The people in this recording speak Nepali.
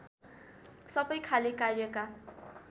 सबै खाले कार्यका